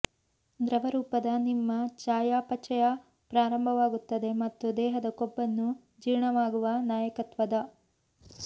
ದ್ರವರೂಪದ ನಿಮ್ಮ ಚಯಾಪಚಯ ಪ್ರಾರಂಭವಾಗುತ್ತದೆ ಮತ್ತು ದೇಹದ ಕೊಬ್ಬನ್ನು ಜೀರ್ಣವಾಗುವ ನಾಯಕತ್ವದ